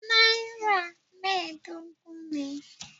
Nàírà mẹ́ẹ̀dógún ni.